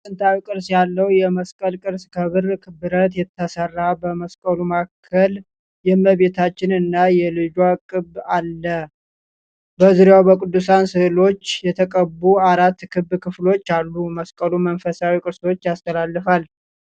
ጥንታዊ ቅርጽ ያለው የመስቀል ቅርጽ ከብር ብረት ተሰራ። በመስቀሉ ማዕከል የእመቤታችን እና የልጇ ቅብ አለ። በዙሪያው በቅዱሳን ሥዕሎች የተቀቡ አራት ክብ ክፍሎች አሉ። መስቀሉ መንፈሳዊ ቅርሶች ያስተላልፋል።